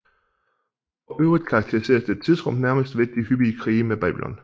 For øvrigt karakteriseres dette tidsrum nærmest ved de hyppige krige med Babylon